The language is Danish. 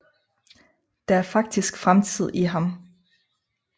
Der er faktisk fremtid i ham